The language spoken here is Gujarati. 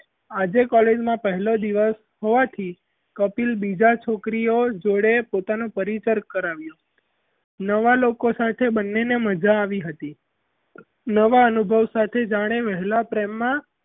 આજે college માં પહેલો દિવસ હોવાથી કપિલ બીજા છોકરીઓ જોડે પોતાનો પરિચય કરાવ્યોં નવા લોકો સાથે બન્નેને મજા આવી હતી નવા અનુભવ સાથે જાણે વહેલાં પ્રેમમાં,